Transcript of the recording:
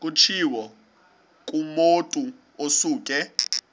kutshiwo kumotu osuke